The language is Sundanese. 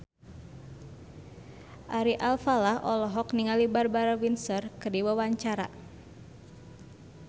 Ari Alfalah olohok ningali Barbara Windsor keur diwawancara